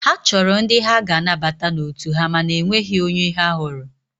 Ha chọrọ ndị ha ga-anabata n'otu ha mana enweghị onye ha hụrụ.